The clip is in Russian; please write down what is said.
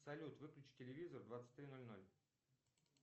салют выключи телевизор в двадцать три ноль ноль